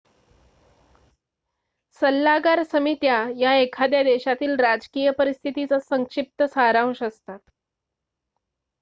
सल्लागार समित्या या एखाद्या देशातील राजकीय परिस्थितीचा संक्षिप्त सारांश असतात